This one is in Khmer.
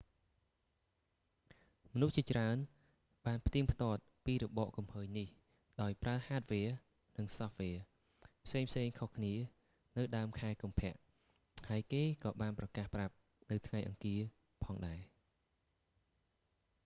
មនុស្សជាច្រើនបានផ្ទៀងផ្ទាត់ពីរបកគំហើញនេះ ដោយប្រើហាដវែរ hardware និងសូហ្វវែរ software ផ្សេងៗខុសគ្នានៅដើមខែកុម្ភៈ ហើយគេក៏បានប្រកាសប្រាប់នៅថ្ងៃអង្គារផងដែរ